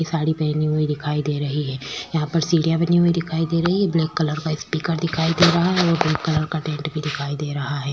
ये साडी पहनी हुई दिखाई दे रही है यहाँ पर सीढ़ीयां बनी हुई दिखाई दे रही है ब्लैक कलर का स्पीकर दिखाई दे रहा है और पिंक कलर का टेंट भी दिखाई दे रहा है।